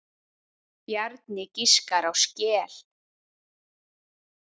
Bjarni giskar á skel.